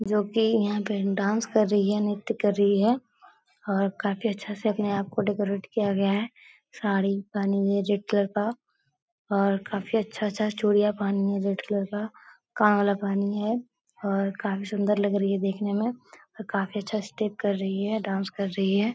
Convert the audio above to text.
जो कि यहाँ पे डांस कर रही है। नृत्य कर रही है और काफी अच्छा से अपने आप को डेकोरेट किया गया है। साड़ी पहनी हुई है रेड कलर का और काफी अच्छा-अच्छा सा चूड़ियाँ पहनी है रेड कलर का। कान वाला पहनी है और काफी सुंदर लग रही है देखने में और काफी अच्छा स्टेप कर रही है डांस कर रही है।